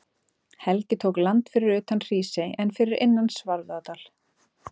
Helgi tók land fyrir utan Hrísey en fyrir innan Svarfaðardal.